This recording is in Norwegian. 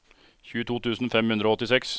tjueto tusen fem hundre og åttiseks